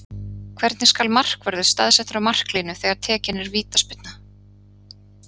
Hvernig skal markvörður staðsettur á marklínu þegar tekin er vítaspyrna?